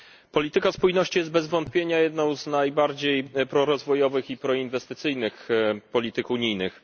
Polityka spójności jest bez wątpienia jedną z najbardziej prorozwojowych i proinwestycyjnych polityk unijnych.